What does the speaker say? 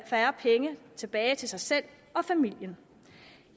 færre penge tilbage til sig selv og familien